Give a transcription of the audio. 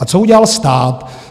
A co udělal stát?